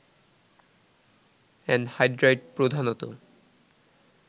anhydride প্রধানত